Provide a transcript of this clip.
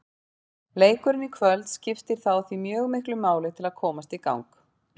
Leikurinn í kvöld skiptir þá því mjög miklu máli til að komast í gang.